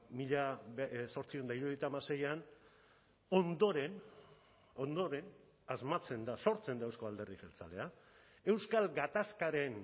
mila zortziehun eta hirurogeita hamaseian ondoren ondoren asmatzen da sortzen da euzko alderdi jeltzalea euskal gatazkaren